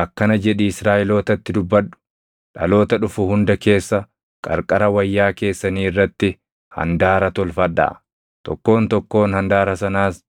“Akkana jedhii Israaʼelootatti dubbadhu: ‘Dhaloota dhufu hunda keessa qarqara wayyaa keessanii irratti handaara tolfadhaa; tokkoon tokkoon handaara sanaas